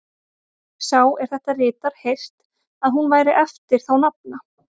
Hefir sá, er þetta ritar, heyrt, að hún væri eftir þá nafna